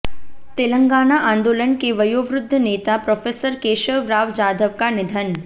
तेलंगाना आंदोलन के वयोवृद्ध नेता प्रोफेसर केशव राव जाधव का निधन